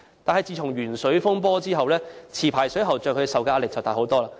但自從鉛水風波後，持牌水喉匠所承受的壓力大增。